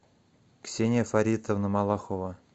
ксения фаритовна малахова